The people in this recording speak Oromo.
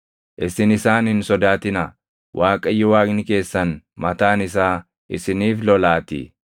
Isin isaan hin sodaatinaa; Waaqayyo Waaqni keessan mataan isaa isiniif lolaatii.”